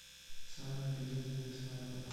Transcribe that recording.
самая безумная свадьба